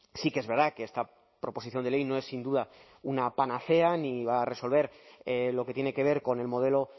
sí que es verdad que esta proposición de ley no es sin duda una panacea ni va a resolver lo que tiene que ver con el modelo